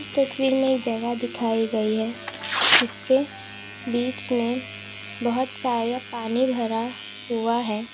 तस्वीर में जगह दिखाई गई है जिसके बीच में बहोत सारे पानी भरा हुआ है।